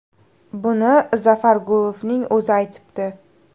Buni Zafar Gulovning o‘zi aytibdi.